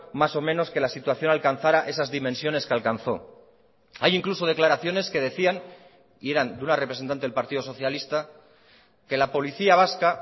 más o menos que la situación alcanzara esas dimensiones que alcanzó hay incluso declaraciones que decían y eran de una representante del partido socialista que la policía vasca